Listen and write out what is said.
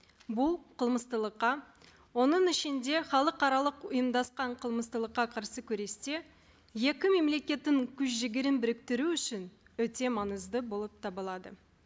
бұл оның ішінде халықаралық ұйымдасқан қарсы күресте екі мемлекеттің күш жігерін біріктіру үшін өте маңызды болып табылады